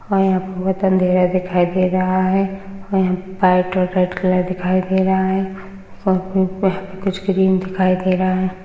और यहाँ पर बहुत अंधेरा दिखाई दे रहा है व यहाँ पर व्हाइट और रेड कलर दिखाई दे रहा है कुच्छ ग्रीन दिखाई दे रहा है।